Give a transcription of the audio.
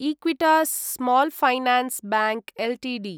Equitas small finance bank Ltd